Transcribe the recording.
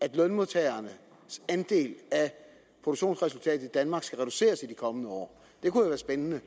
at lønmodtagernes andel af produktionsresultatet i danmark skal reduceres i de kommende år det kunne være spændende